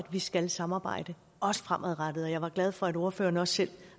vi skal samarbejde også fremadrettet jeg var glad for at ordføreren også selv